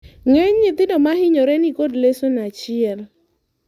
ng'eny nyithindo mohinyore niko lesion achiel